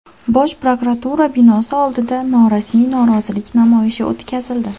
Bosh prokuratura binosi oldida norasmiy norozilik namoyishi o‘tkazildi.